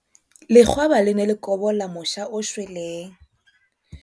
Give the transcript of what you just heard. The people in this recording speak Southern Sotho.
Lekgwaba le ne le kobola mosha o shweleng.